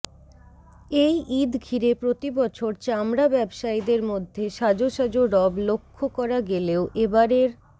এই ঈদ ঘিরে প্রতিবছর চামড়া ব্যবসায়ীদের মধ্যে সাজ সাজ রব লক্ষ করা গেলেও এবারের